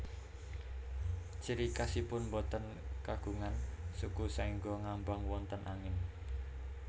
Ciri khasipun boten kagungan suku saéngga ngambang wonten angin